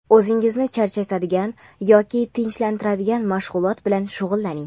o‘zingizni charchatadigan yoki tinchlantiradigan mashg‘ulot bilan shug‘ullaning.